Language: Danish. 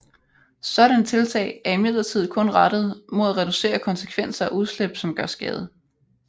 Sådanne tiltag er imidlertid kun rettet mod at reducere konsekvenser af udslip som gør skade